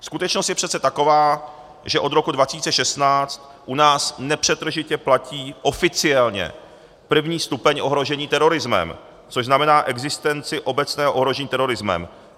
Skutečnost je přece taková, že od roku 2016 u nás nepřetržitě platí oficiálně první stupeň ohrožení terorismem, což znamená existenci obecného ohrožení terorismem.